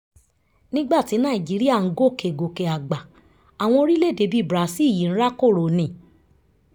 nígbà tí nàìjíríà ń gòkè gòkè àgbà àwọn orílẹ̀-èdè bíi brazil yìí ń rákòrò ni